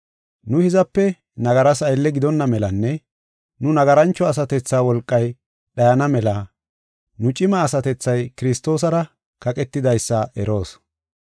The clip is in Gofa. Nu hizape nagaras aylle gidonna melanne nu nagarancho asatethaa wolqay dhayana mela nu cima asatethay Kiristoosara kaqetidaysa eroos.